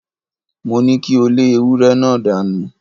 Mo ní kí o lé ewúré náà dánù!